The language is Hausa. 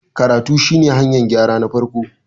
karatu shi ne hanyar gyra na farko